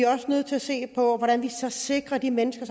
også nødt til at se på hvordan vi så sikrer de mennesker